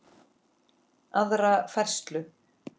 aðra færslu.